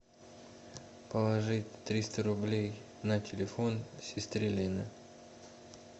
положить триста рублей на телефон сестре лене